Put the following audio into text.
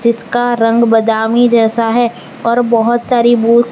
जिसका रंग बदामी जैसा हैं और बहोत सारी बुक --